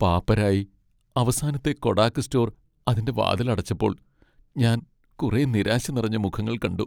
പാപ്പരായി, അവസാനത്തെ Kodak store അതിന്റെ വാതിലടച്ചപ്പോൾ ഞാൻ കുറെ നിരാശ നിറഞ്ഞ മുഖങ്ങൾ കണ്ടു.